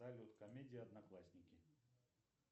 салют комедия одноклассники